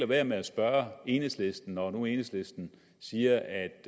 være med at spørge enhedslisten når nu enhedslisten siger at